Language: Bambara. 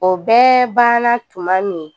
O bɛɛ ban na tuma min